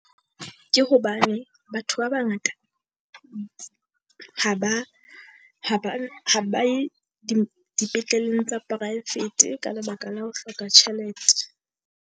Ke hobane batho ba bangata ha ba ha ba ha ba e dipetleleng tsa poraefete ka lebaka la ho hloka tjhelete.